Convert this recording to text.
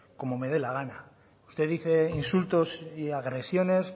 como me dé la gana usted dice insultos y agresiones